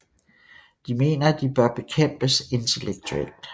De mener at de bør bekæmpes intellektuelt